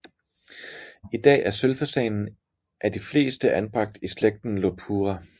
I dag er sølvfasanen af de fleste anbragt i slægten Lophura